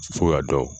Fo ka dɔn